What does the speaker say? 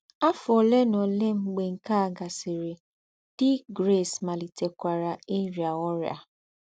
Áfọ́ ólé nà ólé mgbè nké à gàsìrì, dí Grace màlìtèkwàrà íríá órị́à.